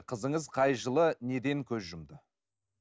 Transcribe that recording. қызыңыз қай жылы неден көз жұмды